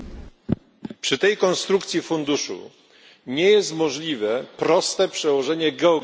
Przy tej konstrukcji funduszu nie jest możliwe proste przełożenie geograficzne.